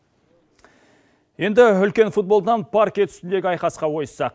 енді үлкен футболдан паркет үстіндегі айқасқа ойыссақ